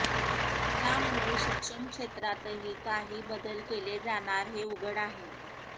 त्यामुळे शिक्षणक्षेत्रातही काही बदल केले जाणार हे उघड आहे